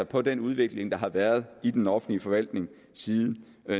på den udvikling der har været i den offentlige forvaltning siden